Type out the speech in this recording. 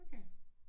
Okay